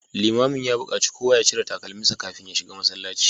Limamin ya bukaci kowa ya cire takalminsa kafin ya shiga masallaci